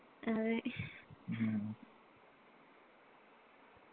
അതെ